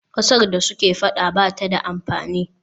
Ƙasar da suke faɗa ba ta da amfani.